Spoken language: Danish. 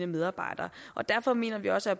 medarbejderne derfor mener vi også at